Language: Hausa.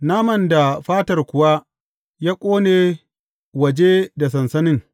Naman da fatar kuwa ya ƙone waje da sansanin.